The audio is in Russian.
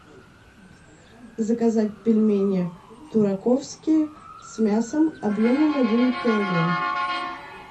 заказать пельмени тураковские с мясом объемом один килограмм